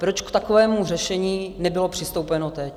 Proč k takovému řešení nebylo přistoupeno teď?